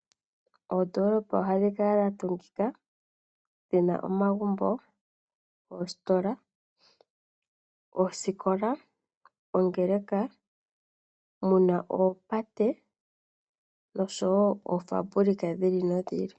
Oondolopa ohadhi kala dhatungikika dhina omagumbo , oositola, oosikola, muna oopate oshowoo oofabulika dhiili nodhili.